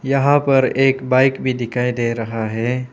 यह पर एक बाइक भी दिखाई दे रहा है।